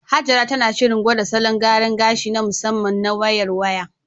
Hajara tana shirin gwada salon gyaran gashi na musamman na "Wayar Waya".